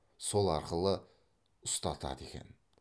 сол арқылы ұстатады екен